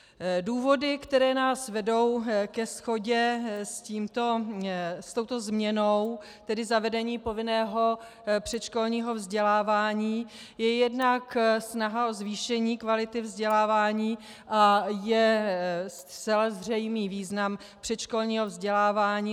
Důvody, které nás vedou ke shodě s touto změnou, tedy zavedení povinného předškolního vzdělávání, je jednak snaha o zvýšení kvality vzdělávání a je zcela zřejmý význam předškolního vzdělávání.